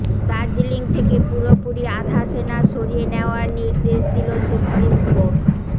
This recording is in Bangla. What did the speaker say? দার্জিলিং থেকে পুরোপুরি আধা সেনা সরিয়ে নেওয়ার নির্দেশ দিল সুপ্রিম কোর্ট